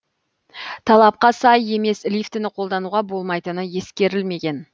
талапқа сай емес лифтіні қолдануға болмайтыны ескерілмеген